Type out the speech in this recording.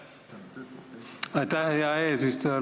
Aitäh, hea eesistuja!